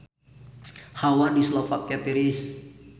Hawa di Slovakia tiris